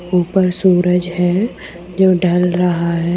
ऊपर सूरज है जो ढल रहा है।